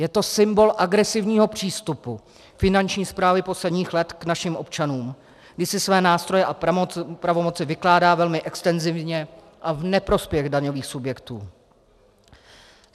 Je to symbol agresivního přístupu Finanční správy posledních let k našim občanům, kdy si své nástroje a pravomoci vykládá velmi extenzivně a v neprospěch daňových subjektů.